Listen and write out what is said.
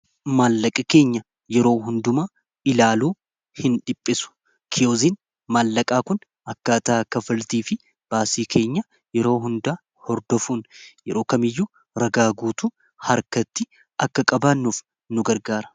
maallaqa keenya yeroo hunduma ilaaluu hin dhiphisu kiyozin maallaqaa kun akka ataa kafaltii fi baasii keenya yeroo hundaa hordofuun yeroo kamiyyuu ragaa guutuu harkatti akka qabaannuuf nu gargaara